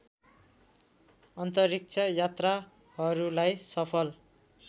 अन्तरिक्ष यात्राहरूलाई सफल